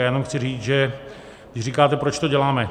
Já jen chci říct, že když říkáte, proč to děláme.